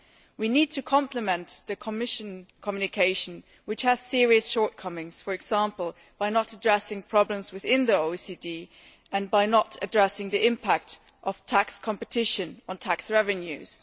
We need to complement the Commission communication, which has serious shortcomings, for example, by not addressing problems within the OECD and by not addressing the impact of tax competition on tax revenues.